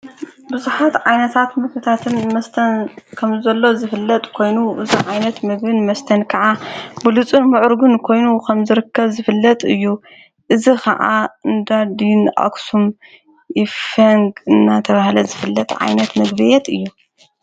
ብዙኃት ዓይነታት ምፍታትን መስተን ከም ዘሎ ዝፍለጥ ኮይኑ እዛ ዓይነት ምግብን መስተን ከዓ ብሉፁን ምዑርግን ኮይኑ ኸም ዘርከ ዝፍለጥ እዩ እዝ ኸዓ እንዳድን ኣክሱም ይፌንግ እና ተብሃለት ዘፍለት ዓይነት መግቢየት እዩ።